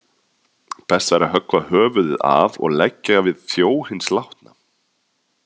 Best væri að höggva höfuðið af og leggja við þjó hins látna.